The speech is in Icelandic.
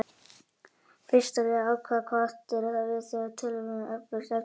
Fyrst þarf að ákveða hvað átt er við þegar talað er um öflugt eldgos.